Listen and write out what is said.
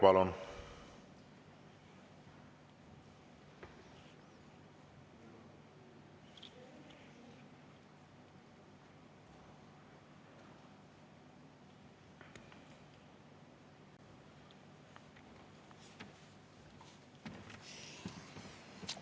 Palun!